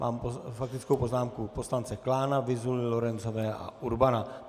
Mám faktickou poznámku poslance Klána, Vyzuly, Lorencové a Urbana.